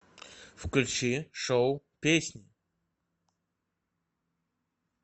включи шоу песнь